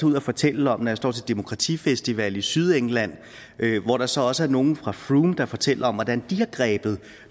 ud og fortælle om når jeg står til demokratifestival i sydengland hvor der så også er nogle fra frome der fortæller om hvordan de har grebet